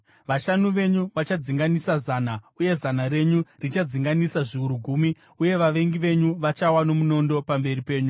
Vashanu venyu vachadzinganisa zana, uye zana renyu richadzinganisa zviuru gumi uye vavengi venyu vachawa nomunondo pamberi penyu.